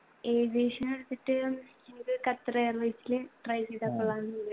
aviation എടുത്തിട്ട് ഇവിടെ Qatar airways ല് try ചെയ്താ കൊള്ളാന്നുണ്ട്